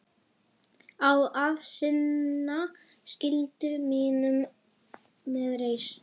Á að sinna skyldu mínum með reisn.